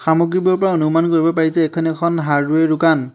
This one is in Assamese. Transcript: সামগ্ৰীবোৰৰ পৰা অনুমান কৰিব পাৰি যে এইখন এখন হাৰ্ডৱেৰ দোকান।